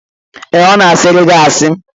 Ee, ọ na-a sịịrị gị asị